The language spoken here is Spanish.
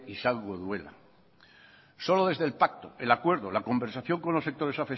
izango duela solo desde el pacto el acuerdo la conversación con los sectores